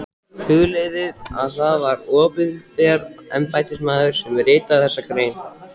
Hugleiðið að það var opinber embættismaður sem ritaði þessa grein.